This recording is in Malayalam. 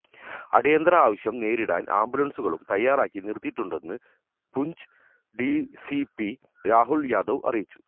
അടിയന്തരാവശ്യം നേരിടാന് ആംബുലന്സുകളും തയാറാക്കി നിര്ത്തിയിട്ടുണ്ടെന്ന് പൂഞ്ച് ഡിസിപി രാഹുല് യാദവ് അറിയിച്ചു